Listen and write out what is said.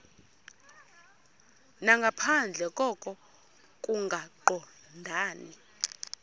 nangaphandle koko kungaqondani